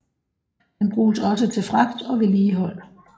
Den bruges også til fragt og vedligehold